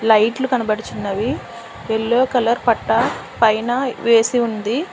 లైట్లు కనబడుచున్నవి yellow colour పట్టా పైన వేసి ఉంది.